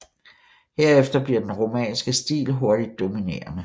Herefter bliver den romanske stil hurtigt dominerende